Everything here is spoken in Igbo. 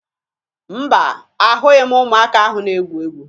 Mba, ahụghị m ụmụaka ahụ na-egwu egwu